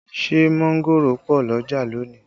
Ṣé mángòrò pọ̀ l'ọ́jà lónìí?